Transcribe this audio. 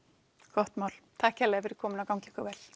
gott mál takk kærlega fyrir komuna og gangi ykkur vel